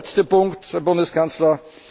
vorgehen. Der letzte Punkt, Herr Bundeskanzler.